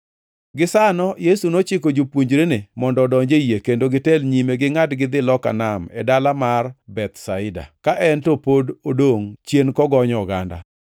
Gisano Yesu nochiko jopuonjrene mondo odonji e yie kendo gitel nyime gingʼad gidhi loka nam e dala mar Bethsaida, ka en to ne pod odongʼ chien kogonyo oganda.